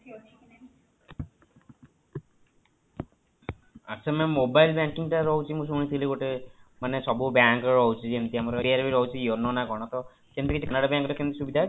ଆଚ୍ଛା mam mobile banking ଟା ରହୁଛି ମୁଁ ଶୁଣିଥିଲି ଗୋଟେ ମାନେ ସବୁ bank ର ରହୁଛି ଯେମିତି SBI ର ରହୁଛି yono ନା କଣ ତା ସେମିତି କିଛି para bank ରେ ସୁବିଧା ଅଛି?